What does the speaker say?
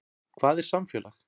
Hvað er samfélag?